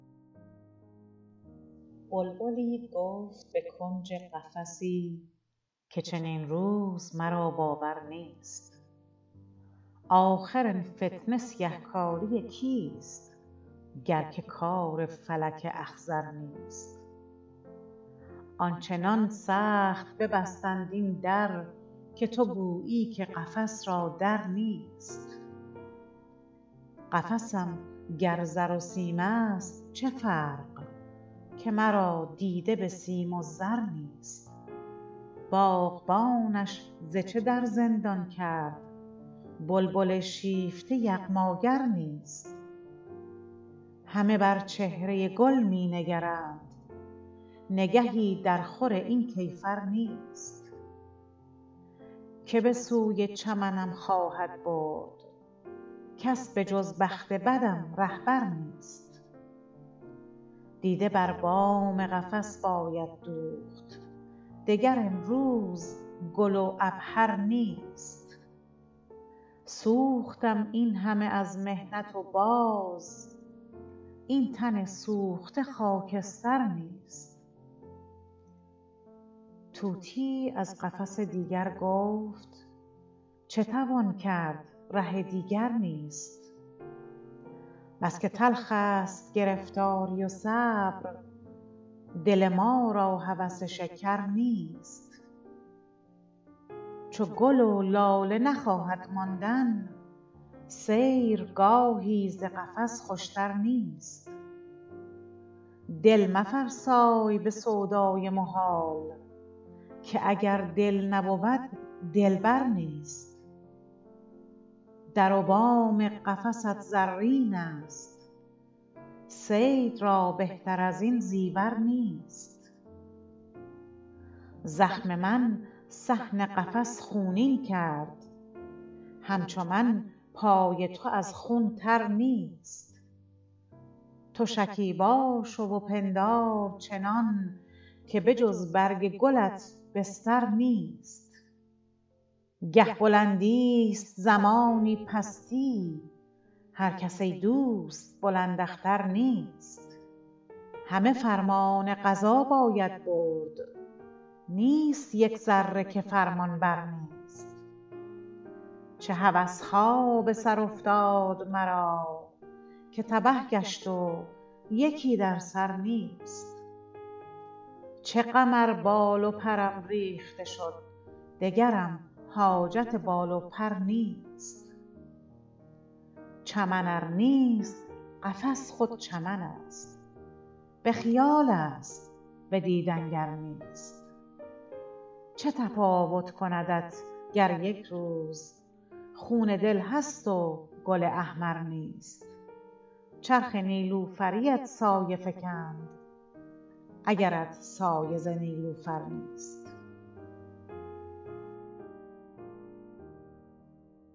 بلبلی گفت به کنج قفسی که چنین روز مرا باور نیست آخر این فتنه سیه کاری کیست گر که کار فلک اخضر نیست آنچنان سخت ببستند این در که تو گویی که قفس را در نیست قفسم گر زر و سیم است چه فرق که مرا دیده بسیم و زر نیست باغبانش ز چه در زندان کرد بلبل شیفته یغماگر نیست همه بر چهره گل می نگرند نگهی در خور این کیفر نیست که بسوی چمنم خواهد برد کس به جز بخت بدم رهبر نیست دیده بر بام قفس باید دوخت دگر امروز گل و عبهر نیست سوختم اینهمه از محنت و باز این تن سوخته خاکستر نیست طوطیی از قفس دیگر گفت چه توان کرد ره دیگر نیست بس که تلخ است گرفتاری و صبر دل ما را هوس شکر نیست چو گل و لاله نخواهد ماندن سیرگاهی ز قفس خوشتر نیست دل مفرسای بسودای محال که اگر دل نبود دلبر نیست در و بام قفست زرین است صید را بهتر ازین زیور نیست زخم من صحن قفس خونین کرد همچو من پای تو از خون تر نیست تو شکیبا شو و پندار چنان که به جز برگ گلت بستر نیست گه بلندی است زمانی پستی هر کس ای دوست بلند اختر نیست همه فرمان قضا باید برد نیست یک ذره که فرمانبر نیست چه هوسها بسر افتاد مرا که تبه گشت و یکی در سر نیست چه غم ار بال و پرم ریخته شد دگرم حاجت بال و پر نیست چمن ار نیست قفس خود چمن است به خیال است بدیدن گر نیست چه تفاوت کندت گر یکروز خون دل هست و گل احمر نیست چرخ نیلوفریت سایه فکند اگرت سایه ز نیلوفر نیست